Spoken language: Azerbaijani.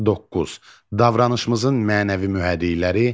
9. Davranışımızın mənəvi mühərrikləri.